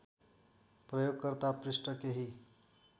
प्रयोगकर्ता पृष्ठ केही